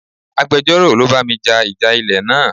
Agbejoro ló bá mi ja ìjà ilẹ̀ náà.